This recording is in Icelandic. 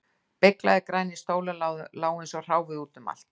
Beyglaðir grænir stólar lágu eins og hráviði út um allt